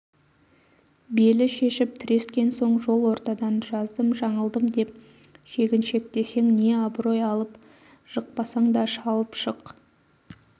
белі шешіп тірескен соң жол ортадан жаздым-жаңылдым деп шегіншектесең не аброй алып жықпасаң да шалып жық